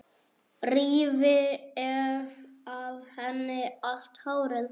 Rífi af henni allt hárið.